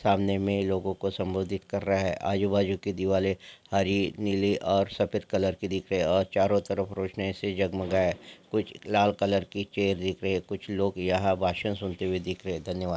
सामने में लोगो को संबोधित कर रहा है आजू-बाजू की दिवाली हरी नीली और सफेद कलर की दिख रही है और चारों तरफ रोशनी से जगमगाया है कुछ लाल कलर की चेयर दिखाई दे रही है कुछ लोग यहां पर भाषण सुनते हुए दिख रहे हैं धन्यवाद।